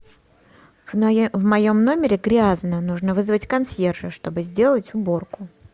в моем номере грязно нужно вызвать консьержа чтобы сделать уборку